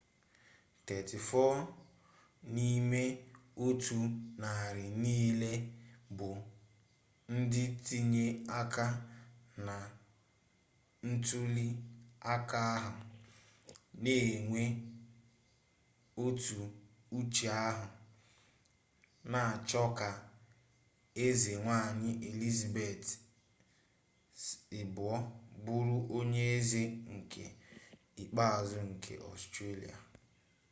34 nime-otu-nari-nile bu ndi tinyere aka na ntuli aka ahu n'enwe otu uche ahu n'acho ka eze-nwanyi elizabeth ii buru onye eze nke ikpeazu nke australia